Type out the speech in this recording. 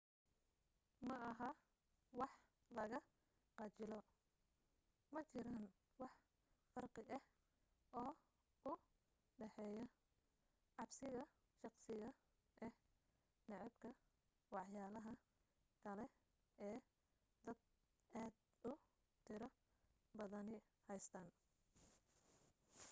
maaha wax laga khajilo majiraan wax farqi ah oo u dhaxeeya cabsiga shakhsiga ah nacaybka waxyaalaha kale ee dad aad u tiro badani haystaan